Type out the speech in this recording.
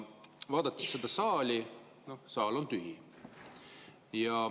Vaadates seda saali, siis saal on tühi.